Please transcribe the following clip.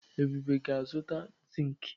Ebube ga-azụta zink.